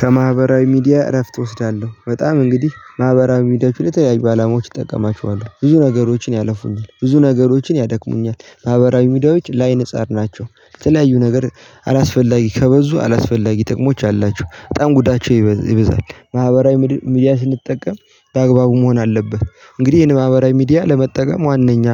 ከማህበራዊ ሚዲያ እረፍት እወስዳለሁ በጣም እንግዲህ ማህበራዊ ሚዲያችን ለለያዩ አላማዎች እጠቀማችኋለሁ ብዙ ነገሮችን ያለፉኛል ብዙ ነገሮችን ያደክሙኛል። ማህበራዊ ሚዲያዎች ለአይን ፀር ናቸው የተለያዩ ነገር አላስፈላጊ ከበዙ አላስፈላጊ ጥቅሞች አላቸው በጣም ጉዳቸው ይበዛል። ማህበራዊ ሚዲያ ስንጠቀም በአግባቡ መሆን አለብህ እንግዲህ ይሄን ማህበራዊ ሚዲያ ለመጠቀም ዋናኛ